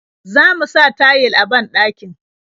Zamu sa tayil a banɗakin.